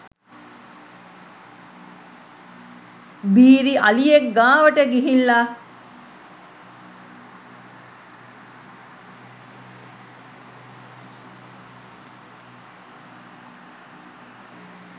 බීරි අලියෙක් ගාවට ගිහිල්ල